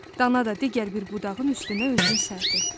Dana da digər bir budağın üstünə özünü sərdi.